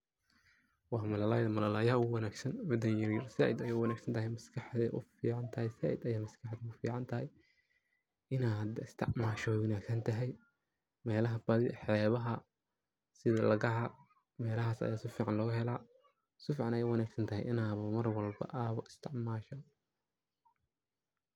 Waa malalayaha malayda ogu wanagsan mida yaryar sayid aya uwanagsantahy maskaxda ayay ufican tahaay saaid ayay maskaxda ufican tahaay inaad istacmasho way wanagsantahaay meelaha badhi xeebaha sidhi lagaha, meelahas aa saficaan laga heela safican ayay uwanagsantahay inaa marwalbo aa istacmasho.